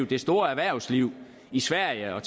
det store erhvervsliv i sverige og